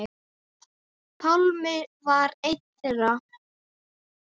Pálmi var einn þeirra.